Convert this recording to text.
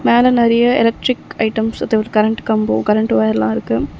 மேல நெறைய electric items அதொரு கரண்ட் கம்போ கரண்ட் வயர்லா இருக்கு.